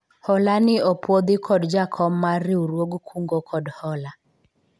hola ni opwodhi kod jakom mar riwruog kungo kod hola